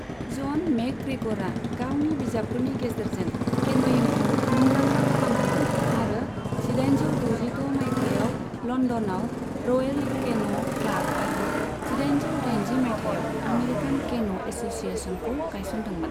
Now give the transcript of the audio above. जन मेकग्रेग'रआ गावनि बिजाबफोरनि गेजेरजों केनयिंखौ मुंदांखा खालामदोंमोन आरो जिदाइनजौ द'जिद' मायथाइयाव लंदनाव रयेल केन' क्लाब आरो जिदाइनजौ दाइनजि मायथाइयाव आमेरिकान केन' एससिएशनखौ गायसनदोंमोन।